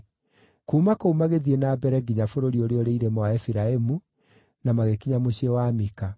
Kuuma kũu magĩthiĩ na mbere nginya bũrũri ũrĩa ũrĩ irĩma wa Efiraimu na magĩkinya mũciĩ wa Mika.